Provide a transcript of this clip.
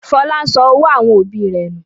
Fọlá sọ owó àwọn òbí rẹ̀ nù.